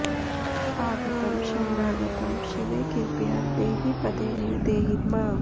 आगतं शरणागतं शिवे कृपया देहि पदे नि देहिर्मा